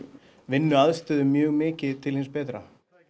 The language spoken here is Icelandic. vinnuaðstöðu mjög mikið til hins betra